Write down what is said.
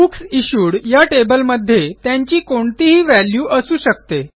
books issued या टेबलमध्ये त्यांची कोणतीही वॅल्यू असू शकते